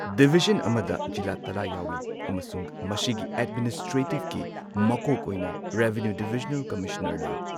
Division ꯑꯃꯗ ꯖꯤꯂꯥ ꯇꯔꯥ ꯌꯥꯎꯏ ꯑꯃꯁꯨꯡ ꯃꯁꯤꯒꯤ ꯑꯦꯗꯃꯤꯅꯤꯁꯇ꯭ꯔꯦꯇꯤꯚꯀꯤ ꯃꯀꯣꯛ ꯑꯣꯏꯅ ꯔꯦꯚꯤꯅ꯭ꯌꯨ ꯗꯤꯚꯤꯖꯅꯦꯜ ꯀꯝꯃꯤꯁꯅꯔ ꯂꯩ꯫